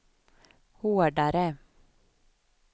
hårdare